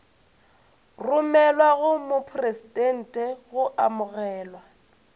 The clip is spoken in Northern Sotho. romelwa go mopresidente go amogelwa